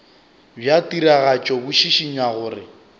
bja tiragatšo bo šišinya gore